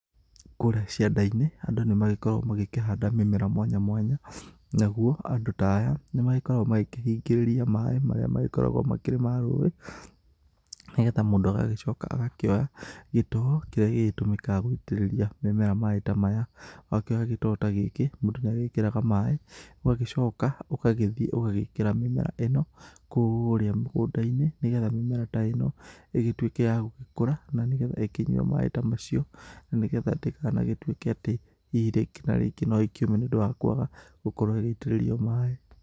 Kũrĩa cianda-inĩ andũ nĩ magĩkoragwo magĩkĩhanda mĩmera mwanya mwanya, nao andũ ta aya nĩ magĩkoragwo makĩhingĩrĩria maĩ marĩa magĩkoragwo makĩrĩ ma rũi nĩgetha mũndũ agagĩcoka agakĩoya gĩtoo kĩrĩa gĩgĩtũmĩkaga gwĩtĩrĩria mĩmera maĩ ta maya, wakĩoya gĩtoo ta gĩkĩ mũndũ nĩ agĩkĩraga maĩ ũgagĩcoka ũgagĩthiĩ ũgagĩkĩra mĩmera ĩno kũrĩa mũgũnda-inĩ nĩgetha mĩmera ta ĩno ĩgĩgĩtuĩke ya gũgĩkũra na nĩgetha ĩkĩnyue maĩ ta macio na nĩgetha ndĩkanatuĩke atĩ hihi rĩngĩ na rĩngĩ no ĩkĩũme nĩ ũndũ wa kwaga gũkorwo igĩitĩrĩrio maĩ.